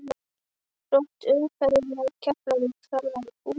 Þrot umferðarinnar: Keflavík Þarf að útskýra?